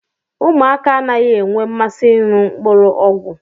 Ụmụaka anaghị enwe mmasị ịṅụ mkpụrụ ọgwụ.